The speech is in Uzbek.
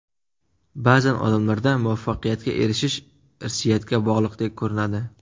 Ba’zan odamlarda muvaffaqiyatga erishish irsiyatga bog‘liqdek ko‘rinadi.